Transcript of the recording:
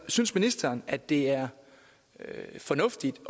synes ministeren at det er fornuftigt